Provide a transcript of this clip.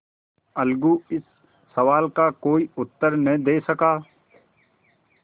अलगू इस सवाल का कोई उत्तर न दे सका